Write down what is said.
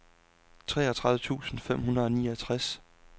treogtredive tusind fem hundrede og niogtres